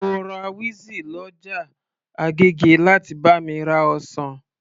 Mo rá wizzy lọ ọjà agége láti bá mi ra ọsàn